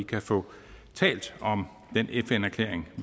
kan få talt om den fn erklæring